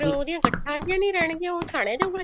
ਉਹਦੀਆਂ ਗੱਠਾ ਜਿਹੀਆਂ ਜੀ ਣੀ ਰਹਿਣਗੀਆਂ ਉਹ ਛਾਨਿਆ ਜਾਉਗਾ